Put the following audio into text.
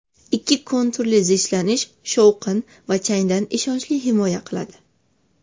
Ikki konturli zichlanish shovqin va changdan ishonchli himoya qiladi.